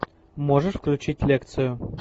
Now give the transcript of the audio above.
можешь включить лекцию